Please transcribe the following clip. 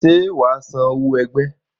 Ṣé wà á san owó ẹgbẹ́?